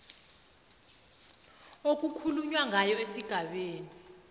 okukhulunywa ngayo esigabeni